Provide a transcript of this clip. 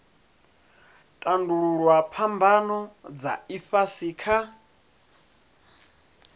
tandululwa phambano dza ifhasi kha